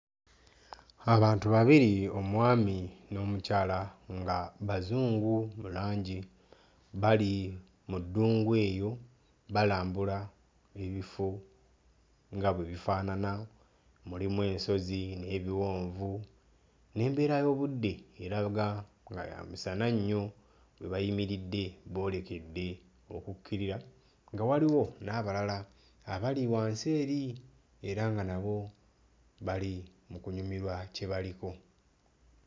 Abantu babiri omwami n'omukyala nga bazungu mu langi bali mu ddungu eyo balambula ebifo nga bwe bifaanana, mulimu ensozi n'ebiwonvu n'embeera y'obudde eraga nga ya musana nnyo. We bayimiridde boolekedde okukkirira nga waliwo n'abalala abali wansi eri era nga nabo bali mu kunyumirwa kye baliko.